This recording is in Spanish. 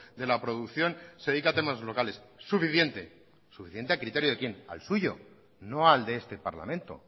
de la producción se dedica a temas locales suficiente suficiente a criterios de quién al suyo no al de este parlamento